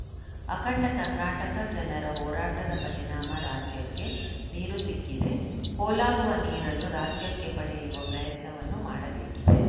ಅಖಂಡ ಕರ್ನಾಟಕ ಜನರ ಹೋರಾಟದ ಪರಿಣಾಮ ರಾಜ್ಯಕ್ಕೆ ನೀರು ಸಿಕ್ಕಿದೆ ಪೋಲಾಗುವ ನೀರನ್ನು ರಾಜ್ಯಕ್ಕೆ ಪಡೆಯುವ ಪ್ರಯತ್ನವನ್ನು ಮಾಡಬೇಕಿದೆ